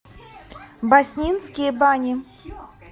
баснинские бани